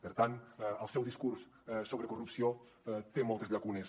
per tant el seu discurs sobre corrupció té moltes llacunes